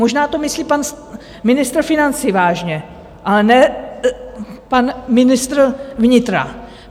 Možná to myslí pan ministr financí vážně, ale ne pan ministr vnitra.